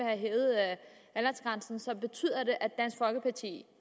have hævet aldersgrænsen så betyder det at dansk folkeparti